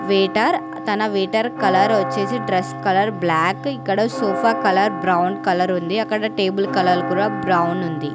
Waiter తన waiter colour వచ్చేసి dress colour black ఇక్కడ సోఫా కలర్ బ్రౌన్ కలర్ ఉంది అక్కడ టేబుల్ కలర్ కూడా బ్రౌన్ ఉంది.